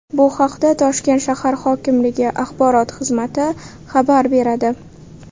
Bu haqda Toshkent shahar hokimligi axborot xizmati xabar beradi .